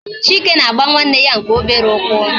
Chike na-agba nwanne ya nke obere ụkwụ